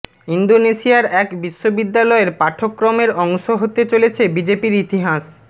ইন্দোনেশিয়ার এক বিশ্ববিদ্যালয়ের পাঠ্যক্রমের অংশ হতে চলেছে বিজেপির ইতিহাস